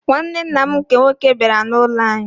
Nwanne nna m nke nwoke bịara n'ụlọ anyị.